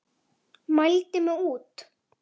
Mældi mig út.